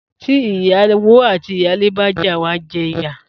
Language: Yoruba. Tí iyáwó ati iyàlé bá já, wa jé ìyà